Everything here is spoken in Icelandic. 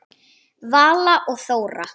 Vala og Þóra.